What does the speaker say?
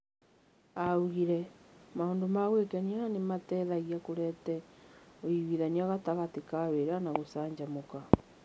Oigire, "Maũndũ ma gwĩkenia nĩ mateithagia kũrehe ũiganania gatagatĩ ka wĩra na gũcanjamũka. "